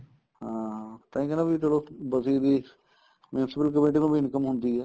ਹਾਂ ਤਾਈ ਕਹਿਨਾ ਵੀ ਚਲੋ ਬਸੀ ਦੀ municipal committee ਨੂੰ ਵੀ income ਹੁੰਦੀ ਏ